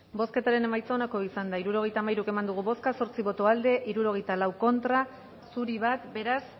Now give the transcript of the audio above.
bozketaren emaitza onako izan da hirurogeita hamairu eman dugu bozka zortzi boto aldekoa hirurogeita lau contra uno zuri beraz